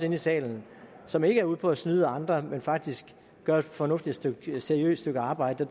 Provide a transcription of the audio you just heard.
i salen som ikke er ude på at snyde andre men faktisk gør et fornuftigt seriøst stykke arbejde